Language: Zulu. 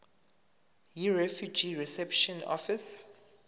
yirefugee reception office